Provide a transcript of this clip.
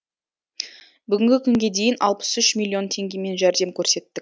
бүгінгі күнге дейін алпыс үш миллион теңгемен жәрдем көрсеттік